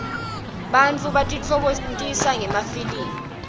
bantfu batitfokokotisa ngemafilmi